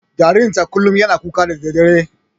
Jaririn ta kullum yana kuka da daddare.